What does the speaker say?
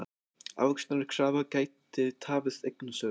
Ávöxtunarkrafa gæti tafið eignasölu